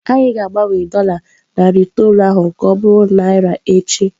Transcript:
Anyị ga-agbanwe dola narị itoolu ahụ ka ọ bụrụ naira echi.